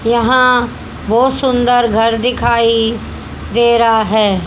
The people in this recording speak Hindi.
यहां बहोत सुन्दर घर दिखाई दे रहा है।